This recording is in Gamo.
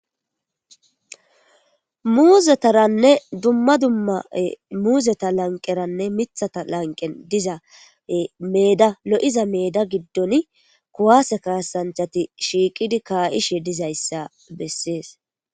Muuzetaranne dumma dumma muuzeta laniqeranne mithata laniqen diza meeda lo'iza meeda gidoni kuwase ka'anachati shiiqid ka'ishe dizaysa beses.